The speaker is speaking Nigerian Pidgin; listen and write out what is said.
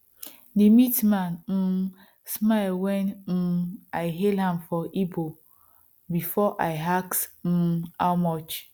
the meat man um smile when um i hail am for igbo before i ask um how much